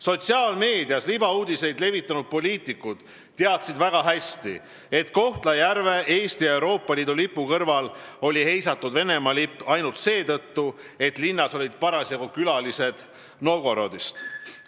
Sotsiaalmeedias libauudiseid levitanud poliitikud teadsid väga hästi, et Kohtla-Järvel oli Eesti ja Euroopa lipu kõrval heisatud Venemaa lipp ainult seetõttu, et linnas olid parasjagu külalised Novgorodist.